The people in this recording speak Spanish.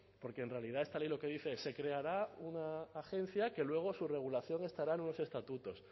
porque en realidad esta ley lo que dice se creará una agencia que luego su regulación estará en unos estatutos